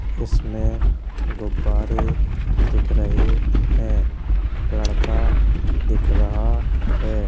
इसमें गुब्बारे दिख रहे हैं। लड़का दिख रहा है।